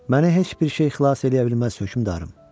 Məni heç bir şey xilas eləyə bilməz, hökmdarım.